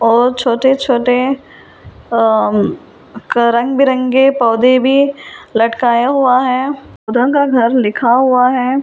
और छोटे-छोटे अ क रंग बिरंगे पौधे भी लटकाया हुआ है का घर लिखा हुआ है।